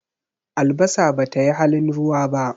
Albasa ba ta yi halin ruwa ba.